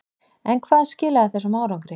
En hvað skilaði þessum árangri?